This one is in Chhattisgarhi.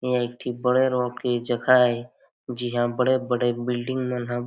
यहाँ एक ठी बड़े रोड के जगह हे जी ह बड़े -बड़े बिल्डिंग मन ह।